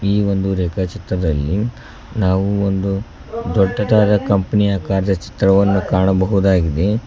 ಈ ಒಂದು ರೇಖಾ ಚಿತ್ರದಲ್ಲಿ ನಾವು ಒಂದು ದೊಡ್ಡದಾದ ಕಂಪನಿ ಆಕಾರದ ಚಿತ್ರವನ್ನು ಕಾಣಬಹುದಾಗಿದೆ.